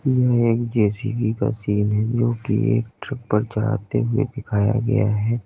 यह एक जे_सी_बी का सीन है जो कि एक ट्रक पर चढ़ाते हुए दिखाया गया है।